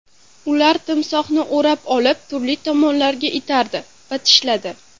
Ular timsohni o‘rab olib, turli tomonlarga itardi va tishladi.